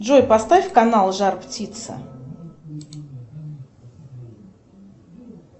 джой поставь канал жар птица